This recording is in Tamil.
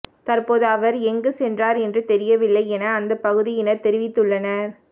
தற்போது அவர் எங்கு சென்றார் என்று தெரியவில்லை என அந்த பகுதியினர் தெரிவித்துள்ளனர்